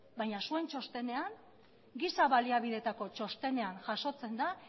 baina zuen txostenean giza baliabideetako txostenean jasotzen da